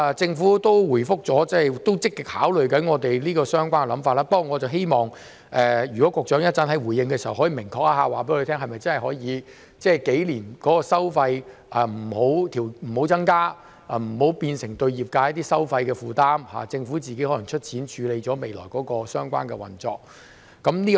政府亦有回覆表示，正積極考慮我們這個想法，不過我希望局長稍後回應時，可以明確告訴我們，相關收費是否數年都可以不增加，以免對業界造成收費的負擔，政府可能自行出錢處理未來相關的運作。